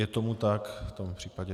Je tomu tak, v tom případě...